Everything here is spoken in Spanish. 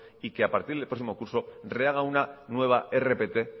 y que a partir del próximo curso rehaga una nueva rpt